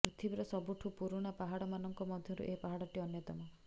ପୃଥିବୀର ସବୁଠୁ ପୁରୁଣା ପାହାଡ଼ ମାନଙ୍କ ମଧ୍ୟରୁ ଏ ପାହାଡ଼ଟି ଅନ୍ୟତମ